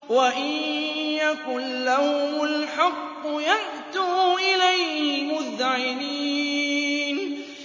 وَإِن يَكُن لَّهُمُ الْحَقُّ يَأْتُوا إِلَيْهِ مُذْعِنِينَ